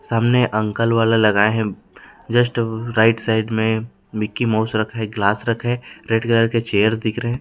सामने अंकल वाला लगाए हैं जिस्ट राइट साइड मे मिक्की माउस रखा है ग्लास रखा है रेड कलर के चेयर्स दिख रही है।